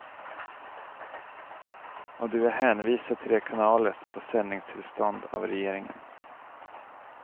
Och du är hänvisad till de kanaler som får sändningstillstånd av regeringen.